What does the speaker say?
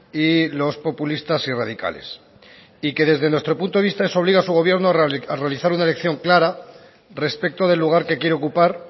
y los populistas y radicales y que desde nuestro punto de vista eso obliga a su gobierno a realizar una elección clara respecto del lugar que quiere ocupar